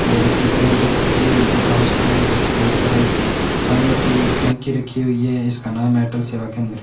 और इसकी पेंट अच्छी की हुई है बाहर से इसके ऊपर एक पानी की टंकी रखी हुई है इसका नाम है अटल सेवा केंद्र।